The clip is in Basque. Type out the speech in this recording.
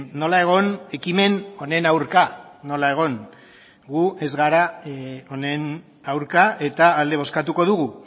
nola egon ekimen honen aurka nola egon gu ez gara honen aurka eta alde bozkatuko dugu